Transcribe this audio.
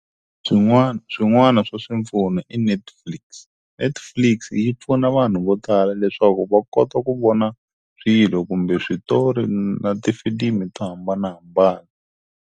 Swin'wana, swin'wana swa swipfuno i Netflix. Netflix yi pfuna vanhu vo tala leswaku va kota ku vona swilo kumbe switori na tifilimi to hambanahambana.